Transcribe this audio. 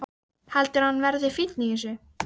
Heldurðu að hann verði fínn í þessu!